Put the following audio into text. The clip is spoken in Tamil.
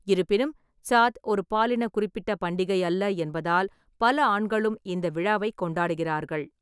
இருப்பினும், சாத் ஒரு பாலின குறிப்பிட்ட பண்டிகை அல்ல என்பதால் பல ஆண்களும் இந்த விழாவைக் கொண்டாடுகிறார்கள்.